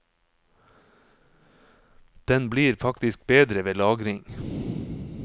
Den blir faktisk bedre ved lagring.